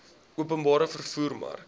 openbare vervoer mark